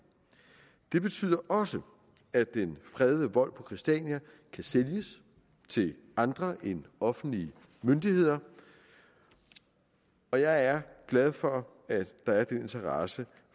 det betyder også at den fredede vold på christiania kan sælges til andre end offentlige myndigheder og jeg er glad for at der er den interesse